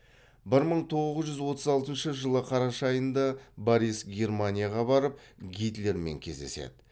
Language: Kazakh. бір мың тоғыз жүз отыз алтыншы жылы қараша айында борис германияға барып гитлермен кездеседі